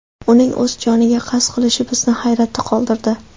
Uning o‘z joniga qasd qilishi bizni hayratda qoldirdi.